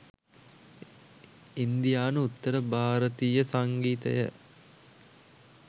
ඉන්දියානු උත්තර භාරතීය සංගීතය